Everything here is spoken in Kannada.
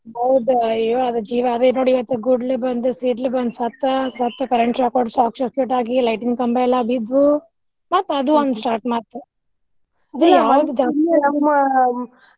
ಹೌದ ಅಯ್ಯೊ ಜೀವ ಅದೆ ನೋಡಿ ಗುಡ್ಲು ಬಂದು ಸಿಡ್ಲು ಬಂದು ಸತ್ತ, ಸತ್ತ current shock ಹೊಡುದು short circuit ಆಗಿ light ಕಂಬಯೆಲ್ಲಾ ಬಿದ್ದ್ ಮತ್ ಅದು ಒಂದ್ start ಮಾಡ್ತಾರ.